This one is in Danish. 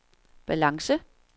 balance